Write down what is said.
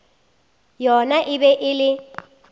yona e be e le